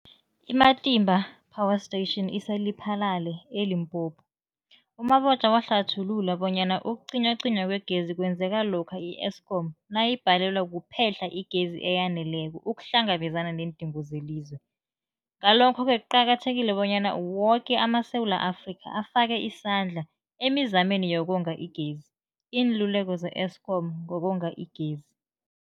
I-Matimba Power Station ise-Lephalale, eLimpopo. U-Mabotja wahlathulula bonyana ukucinywacinywa kwegezi kwenzeka lokha i-Eskom nayibhalelwa kuphe-hla igezi eyaneleko ukuhlangabezana neendingo zelizwe. Ngalokho-ke kuqakathekile bonyana woke amaSewula Afrika afake isandla emizameni yokonga igezi. Iinluleko ze-Eskom ngokonga igezi.